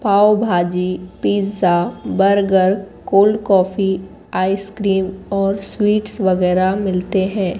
पाव bhaji pizza burger cold coffee ice cream और sweets वगैरा मिलते हैं।